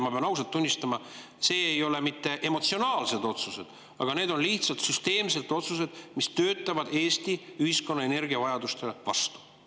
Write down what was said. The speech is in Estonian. Ma pean ausalt tunnistama, et need ei ole mitte emotsionaalsed otsused, need on süsteemsed otsused, mis töötavad Eesti ühiskonna energiavajadustele vastu.